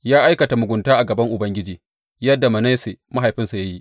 Ya aikata mugunta a gaban Ubangiji, yadda Manasse mahaifinsa ya yi.